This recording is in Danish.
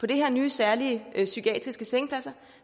de her nye særlige psykiatriske sengepladser